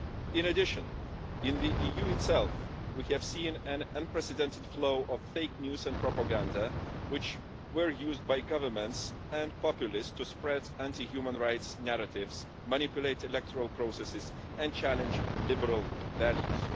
In addition, in the EU itself, we have seen an unprecedented flow of fake news and propaganda, which have been used by governments and populists to spread anti-human-rights narratives, manipulate electoral processes and challenge liberal values.